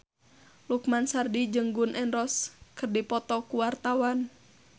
Lukman Sardi jeung Gun N Roses keur dipoto ku wartawan